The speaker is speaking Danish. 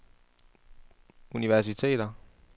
universiteter